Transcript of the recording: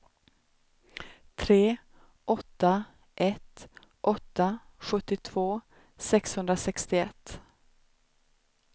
tre åtta ett åtta sjuttiotvå sexhundrasextioett